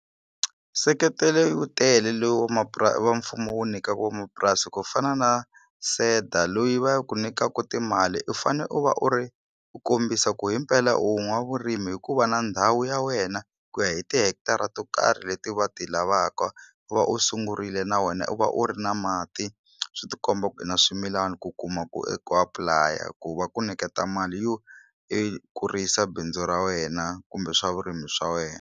Nseketelo wu tele lowu wa mfumo wu nyika vomapurasi ku fana na SEDA loyi va ku nyikaku timali u fane u va u ri u kombisa ku himpela u n'wavurimi hikuva na ndhawu ya wena ku ya hi tihekitara to karhi leti va ti lavaka u va u sungurile na wena u va u ri na mati swi ti komba ku i na swimilani ku kuma ku ku apply ku va ku niketa mali yo i kurisa bindzu ra wena kumbe swa vurimi swa wena.